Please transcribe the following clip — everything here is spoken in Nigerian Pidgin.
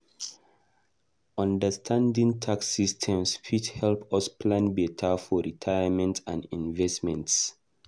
Understanding tax systems fit help us plan beta for retirement and investments.